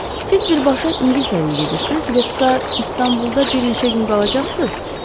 Siz birbaşa İngiltərəyə gedirsiz, yoxsa İstanbulda bir neçə gün qalacaqsız?